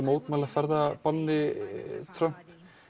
mótmæla ferðabanni Trumps